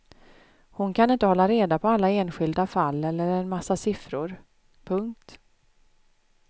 Hon kan inte hålla reda på alla enskilda fall eller en massa siffror. punkt